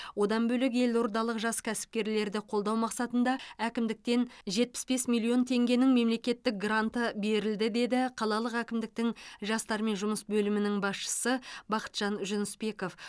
одан бөлек елордалық жас кәсіпкерлерді қолдау мақсатында әкімдіктен жетпіс бес миллион теңгенің мемлекеттік гранты берілді деді қалалық әкімдіктің жастармен жұмыс бөлімінің басшысы бақытжан жүнісбеков